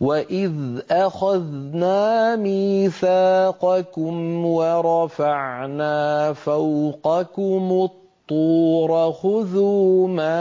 وَإِذْ أَخَذْنَا مِيثَاقَكُمْ وَرَفَعْنَا فَوْقَكُمُ الطُّورَ خُذُوا مَا